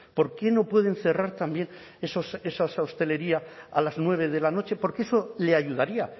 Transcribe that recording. por qué no pueden cerrar también esa hostelería a las nueve de la noche porque eso le ayudaría